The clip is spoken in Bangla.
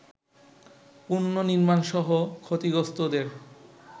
পুনঃনির্মাণসহ ক্ষতিগ্রস্তদের